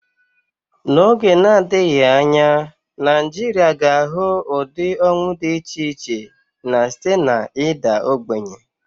N'oge na-adịghị anya, Nigeria ga-ahụ ụdị ọnwụ dị iche iche, na-esite na ịda ogbenye.